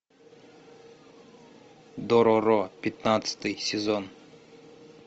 дороро пятнадцатый сезон